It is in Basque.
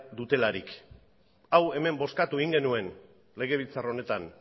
dutelarik hau hemen bozkatu egin genuen legebiltzar honetan